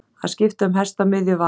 Að skipta um hest á miðju vaði